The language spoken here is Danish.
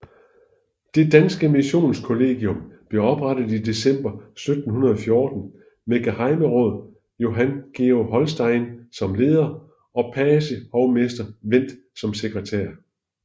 Det danske Missionskollegium blev oprettet i december 1714 med gehejmeråd Johan Georg Holstein som leder og pagehovmester Wendt som sekretær